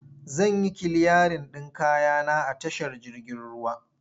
Zan yi kiliyarin ɗin kaya na a tashar jirgin ruwa.